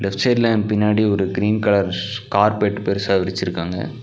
Left சைடுல ஏ பின்னாடி ஒரு கிரீன் கலர் கார்பெட் பெருசா விரிச்சுருக்காங்க.